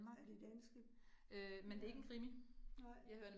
Er de danske, nej